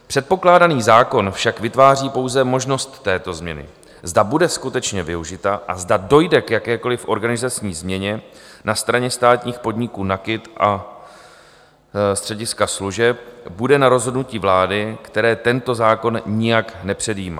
Předpokládaný zákon však vytváří pouze možnost této změny, zda bude skutečně využita a zda dojde k jakékoliv organizační změně na straně státních podniků NAKIT a střediska služeb, bude na rozhodnutí vlády, které tento zákon nijak nepředjímá.